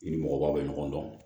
I ni mɔgɔbaw bɛ ɲɔgɔn dɔn